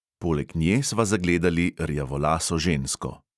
Poleg nje sva zagledali rjavolaso žensko.